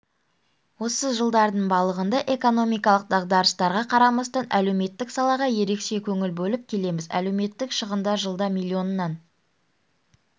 осы жылдардың балығында экономикалық дағдарыстарға қарамастан әлеуметтік салаға ерекше көңіл бөліп келеміз әлеуметтік шығындар жылда миллионнан